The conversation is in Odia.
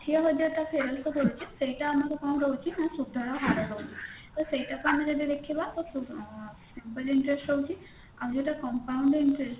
ହଜାର ଟା ଫେରସ୍ତ କରୁଛେ ସେଇଟା ଆମର କଣ ଯାଉଛି ନା ସୁଧର ହାର ଯାଉଛି ତ ସେଇଟାକୁ ଆମେ ଯଦି ଦେଖିବା ତ ଉଁ simple interest ରହୁଛି ଆଉ ସେଟା compound interest